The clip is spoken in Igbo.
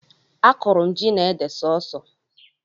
Akụrụ m ji na ede sọọsọ